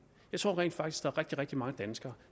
jeg tror rent faktisk er rigtig rigtig mange danskere